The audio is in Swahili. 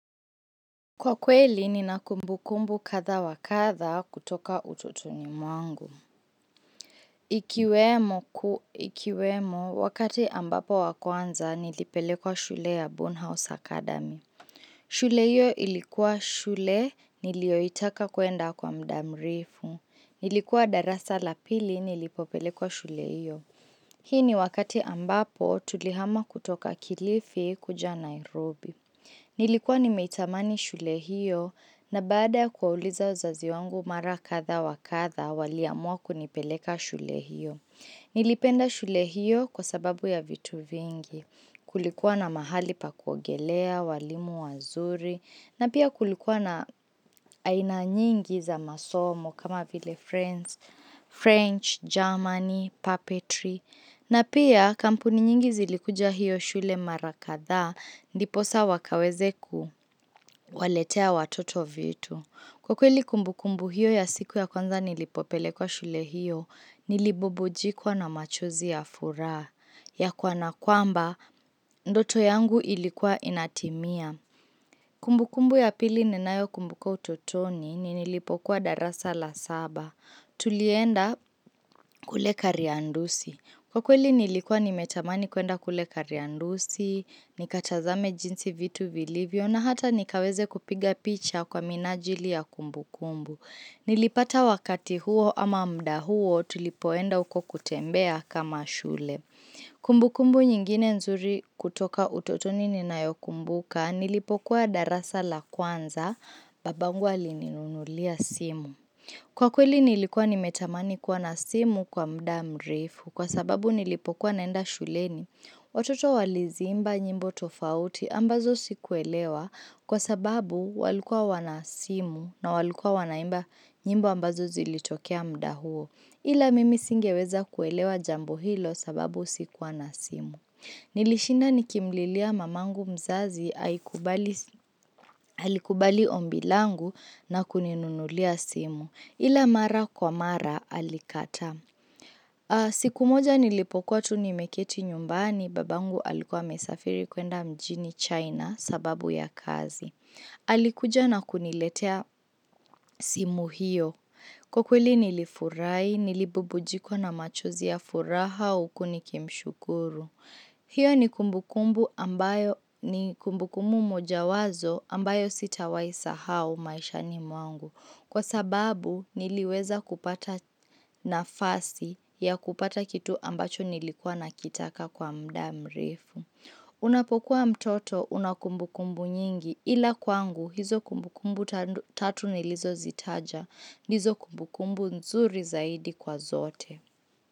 Kwa kweli, nina kumbukumbu kathaa wa kathaa kutoka ututoni mwangu. Ikiwemo, wakati ambapo wa kwanza nilipelekwa shule ya Bornn House Academy. Shule hiyo ilikuwa shule nilioitaka kwenda kwa muda mrefu. Nilikuwa darasa la pili nilipopelekwa shule hiyo. Hii ni wakati ambapo tulihama kutoka kilifi kuja Nairobi. Nilikuwa nimeitamani shule hiyo na baada kuwauliza uzazi wangu mara kathaa wa kathaa waliamua kunipeleka shule hiyo. Nilipenda shule hiyo kwa sababu ya vitu vingi. Kulikuwa na mahali pa kuogelea, walimu wazuri na pia kulikuwa na aina nyingi za masomo kama vile French, Germany, puppetry. Na pia kampuni nyingi zilikuja hiyo shule mara kathaa, ndiposa wakaweze kuwaletea watoto vitu. Kwa kweli kumbukumbu hiyo ya siku ya kwanza nilipopele kwa shule hiyo, nilibubujikwa na machozi ya furaha. Ya kana kwamba, ndoto yangu ilikuwa inatimia. Kumbukumbu ya pili ninayo kumbuka utotoni nilipokuwa darasa la saba. Tulienda kule kariandusi. Kwa kweli nilikuwa nimetamani kwenda kule kariandusi, nikatazame jinsi vitu vilivyo, na hata nikaweze kupiga picha kwa minajili ya kumbu kumbu. Nilipata wakati huo ama muda huo tulipoenda huko kutembea kama shule. Kumbukumbu nyingine nzuri kutoka utotoni ninayokumbuka, nilipokuwa darasa la kwanza, babangu alininunulia simu. Kwa kweli nilikuwa nimetamani kuwa na simu kwa muda mrefu kwa sababu nilipokuwa naenda shuleni. Watoto waliziimba nyimbo tofauti ambazo sikuelewa kwa sababu walikua wana simu na walikua wanaimba nyimbo ambazo zilitokea muda huo. Ila mimi singeweza kuelewa jambo hilo sababu sikuwa na simu. Nilishinda nikimlilia mamangu mzazi alikubali ombi langu na kuninunulia simu. Ila mara kwa mara alikataa. Siku moja nilipokuwa tu nimeketi nyumbani, babangu alikuwa amesafiri kwenda mjini China sababu ya kazi. Alikuja na kuniletea simu hiyo. Kwa kweli nilifurahi, nilibubujikwa na machozi ya furaha huku nikimshukuru. Hiyo ni kumbukumu mojawazo ambayo sitawai sahau maishani mwangu. Kwa sababu niliweza kupata nafasi ya kupata kitu ambacho nilikuwa nakitaka kwa muda mrefu. Unapokuwa mtoto unakumbukumbu nyingi ila kwangu hizo kumbukumbu tatu nilizo zitaja ndizo kumbukumbu nzuri zaidi kwa zote.